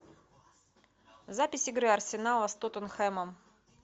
запись игры арсенала с тоттенхэмом